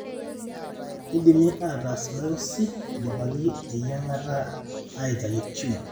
kindimi ataas biosy indipaki eyiangata aitayu tumor.